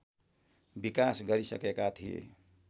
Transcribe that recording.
विकास गरिसकेका थिए